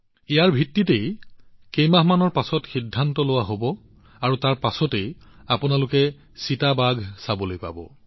এই ভিত্তিত কেইমাহমানৰ পিছত সিদ্ধান্ত লোৱা হব আৰু তাৰ পিছত আপোনালোকে চিতাবোৰ চাবলৈ সক্ষম হব